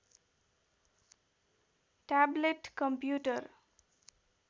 tablet computer